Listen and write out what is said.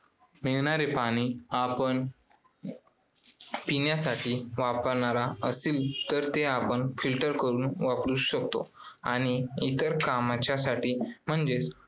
मिळणारे पाणी आपण पिण्यासाठी वापरणारा असीन तर ते आपण filter करून वापरू शकतो आणि इतर कामांच्यासाठी म्हणजेच